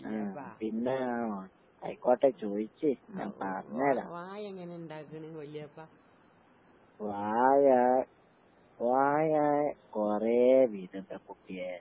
ആഹ് പിന്നെയാണോ? ആയിക്കോട്ടെ ചോയിക്ക്. ഞാൻ പറഞ്ഞരാം. വാഴ വാഴ കൊറേ വിധംണ്ട് കുട്ടിയേ.